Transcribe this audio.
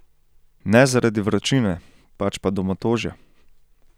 Ne zaradi vročine, pač pa domotožja.